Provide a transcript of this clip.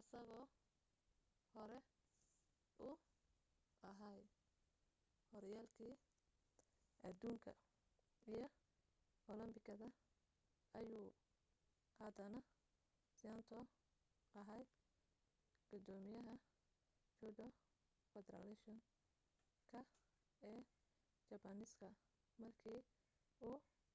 isagoo hore u ahaa horyaalkii adduunka iyo olambikada ayuu haddana saito ahaa gudoomiyaha judo federation ka ee jabbaaniiska markii u